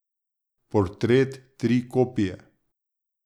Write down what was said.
Portret, tri kopije.